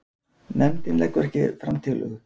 Nefndin leggur ekki fram tillögu